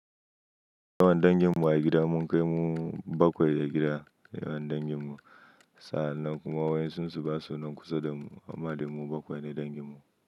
Yawan danginmu a gida mun kai mu bakwai a gida, yawan danginmu. Sa'an nan kuma wayensu su ba sunan kusa da mu amma dai mu bakwai ne danginmu.